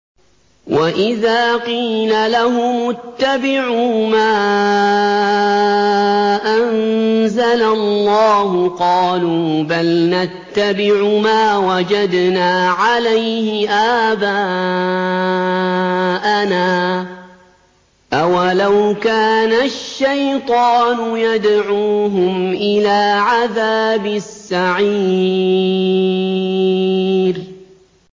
وَإِذَا قِيلَ لَهُمُ اتَّبِعُوا مَا أَنزَلَ اللَّهُ قَالُوا بَلْ نَتَّبِعُ مَا وَجَدْنَا عَلَيْهِ آبَاءَنَا ۚ أَوَلَوْ كَانَ الشَّيْطَانُ يَدْعُوهُمْ إِلَىٰ عَذَابِ السَّعِيرِ